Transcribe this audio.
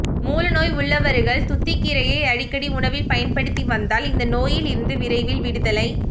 மூலநோய் உள்ளவர்கள் துத்திகீரையை அடிக்கடி உணவில் பயன்படுத்தி வந்தால் இந்த நோயில் இருந்து விரைவில் விடுதலை